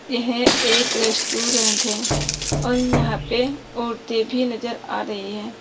यह एक रेस्टोरेंट है और यहां पे औरते भी नजर आ रही है।